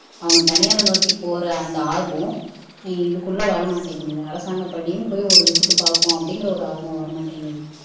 அவங்க தனியாரை நோக்கி போற அந்த ஆர்வம் இதுக்குள்ள வரமாட்டேங்குது அரசாங்க பள்ளியும் ஒரு விசிட் பாப்போம் அப்படிங்கிற ஒரு ஆர்வம் வரமாட்டேங்குது